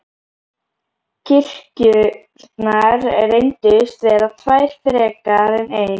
Kirkjurnar reyndust vera tvær frekar en ein.